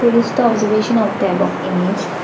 these the observation of the above image.